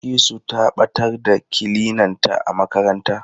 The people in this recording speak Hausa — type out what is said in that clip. Bilkisu ta ɓatar da kilinanta a makaranta.